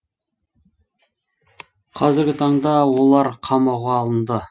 қазіргі таңда олар қамауға алынды